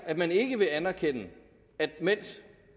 at man ikke vil anerkende at mens